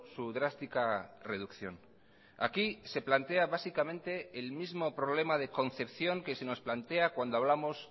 su drástica reducción aquí se plantea básicamente el mismo problema de concepción que se nos plantea cuando hablamos